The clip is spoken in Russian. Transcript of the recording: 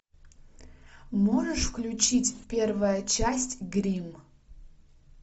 можешь включить первая часть гримм